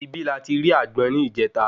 Ibí la ti ri àgbọn ni ìjeta